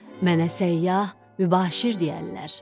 “Mənə səyyah, mübaşir deyərlər.